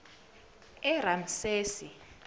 eramsesi